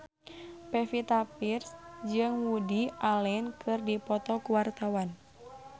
Pevita Pearce jeung Woody Allen keur dipoto ku wartawan